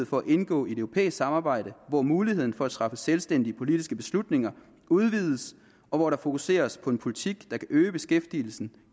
for at indgå i et europæisk samarbejde hvor muligheden for at træffe selvstændige politiske beslutninger udvides og hvor der fokuseres på en politik der kan øge beskæftigelsen